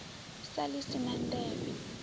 sa ḽi si na nḓevhe